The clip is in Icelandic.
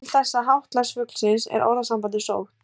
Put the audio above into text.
Til þessa háttalags fuglsins er orðasambandið sótt.